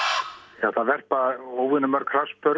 það verpa óvenjumörg